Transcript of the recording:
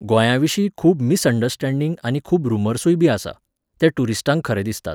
गोंयाविशीं खूब मिसअंडरस्टॅडिंग आनी खूब रुमर्सूयबी आसात, ते ट्युरिस्टांक खरे दिसतात.